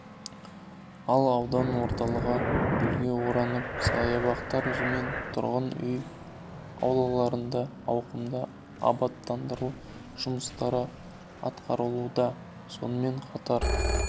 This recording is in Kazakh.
ал аудан орталығы гүлге оранып саябақтар мен тұрғын үй аулаларында ауқымды абаттандыру жұмыстары атқарылуда сонымен қатар